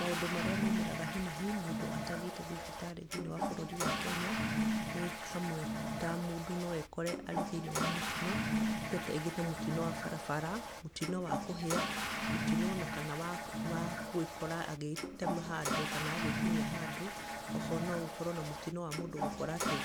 Maũndũ marĩa moimĩraga hi na hi mũndũ atathiĩte thibitarĩ thĩinĩ wa bũrũri wa Kenya nĩ hamwe ta mũndũ no ekore arĩ thĩinĩ wa mũtino, ta rĩngĩ ta mũtino wa barabara, mũtino wa kũhĩa, mũtino ona kana wa gwĩkora agĩtema handũ kana agĩtinia handũ. O ho no ũkorwo na mũtino wa mũndũ gũkora atĩ